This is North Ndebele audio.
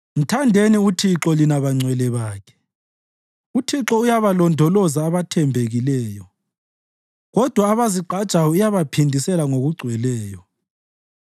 Mthandeni uThixo, lina bangcwele bakhe! UThixo uyabalondoloza abathembekileyo, kodwa abazigqajayo uyabaphindisela ngokugcweleyo.